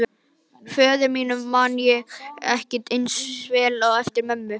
Föður mínum man ég ekki eins vel eftir og mömmu.